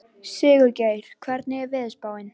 Sigurgeir, hvernig er veðurspáin?